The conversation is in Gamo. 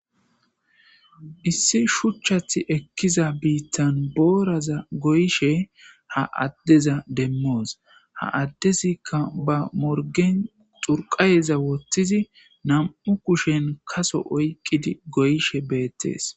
Issi shuchchathi ekkiza biittan booraza goyishe ha addeza demmoos ha addezikka ba morgen xurqayeza woththizi nam'u kushen kaso oyqqidi goyshe beettees.